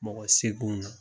Mɔgɔ seeginw na.